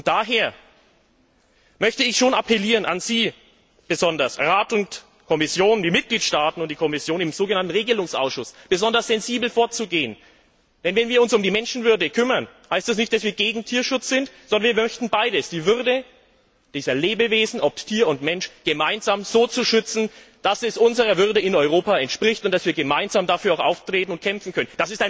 Daher möchte ich an Sie besonders an den Rat, die Mitgliedstaaten und die Kommission im so genannten Regelungsausschuss appellieren, besonders sensibel vorzugehen. Denn wenn wir uns um die Menschenwürde kümmern, heißt das nicht, dass wir gegen Tierschutz sind, sondern wir möchten beides Die Würde dieser Lebewesen, ob Tier oder Mensch, gemeinsam so zu schützen, dass es unserer Würde in Europa entspricht und dass wir gemeinsam auch dafür eintreten und kämpfen können.